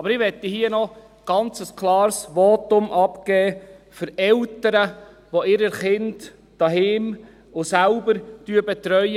Aber ich möchte hier noch ein ganz klares Votum abgeben für Eltern, die ihre Kinder zu Hause und selbst betreuen.